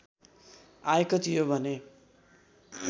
आएको थियो भने